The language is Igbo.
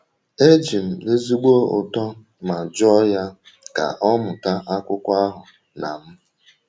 E ji m ezigbo ụtọ ma jụọ ya ka ọ mụta akwụkwọ ahụ na m.